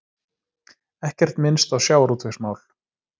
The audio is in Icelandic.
Ekkert minnst á sjávarútvegsmál